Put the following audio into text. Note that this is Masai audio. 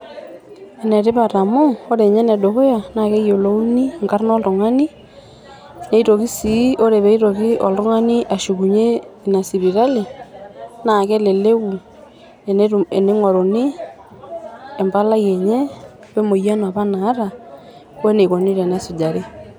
Ene tipat amu ore ninye ene dukuya naa keyiolouni nkarn oltungani neitoki sii ore peitoki oltungani ashukunyie ina sipitali naa keleleku netingoruni empalai enye we emoyian apa naata we enikoni tenesujari.